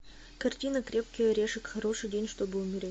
картина крепкий орешек хороший день чтобы умереть